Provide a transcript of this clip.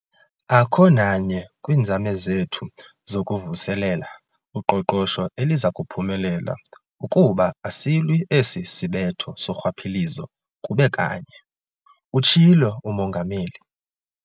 "Akho nanye kwiinzame zethu zokuvuselela uqoqosho eliza kuphumelela ukuba asilwi esi sibetho sorhwaphilizo kube kanye," utshilo uMongameli.